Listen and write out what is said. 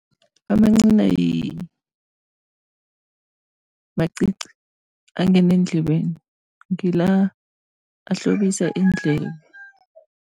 Amancina macici, angena endlebeni, ngila ahlobisa iindlebe.